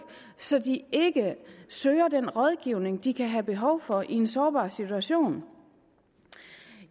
så de ikke søger den rådgivning de kan have behov for i en sårbar situation